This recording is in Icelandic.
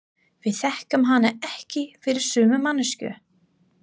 Við þekkjum hana ekki fyrir sömu manneskju.